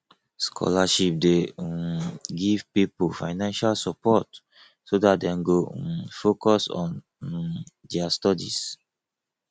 scholarship de um give pipo financial support so that dem go um focus on um their studies